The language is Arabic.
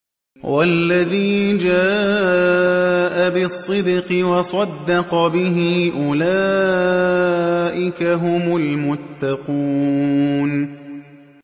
وَالَّذِي جَاءَ بِالصِّدْقِ وَصَدَّقَ بِهِ ۙ أُولَٰئِكَ هُمُ الْمُتَّقُونَ